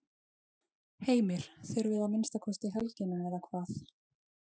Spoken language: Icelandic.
Heimir: Þurfið að minnsta kosti helgina eða hvað?